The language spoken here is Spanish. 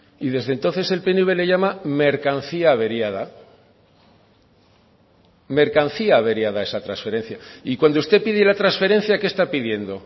y desde entonces el pnv le llama mercancía averiada mercancía averiada a esa transferencia y cuando usted pide la transferencia qué está pidiendo